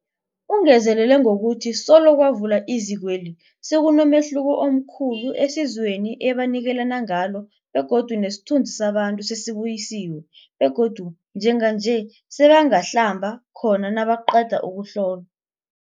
Ungezelele ngokuthi solo kwavulwa izikweli, sekunomehluko omkhulu esizweni ebanikelana ngalo begodu nesithunzi sabantu sesibuyisiwe begodu njenganje sebangahlamba khona nabaqeda ukuhlolwa.